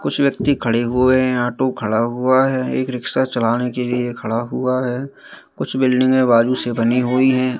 कुछ व्यक्ति खड़े हुए हैं ऑटो खड़ा हुआ है एक रिक्शा चलाने के लिए खड़ा हुआ है कुछ बिल्डिंगे बाजू से बनी हुई है।